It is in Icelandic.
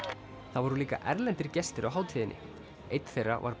það voru líka erlendir gestir á hátíðinni einn þeirra var